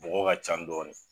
Bɔgɔ ka ca dɔɔni.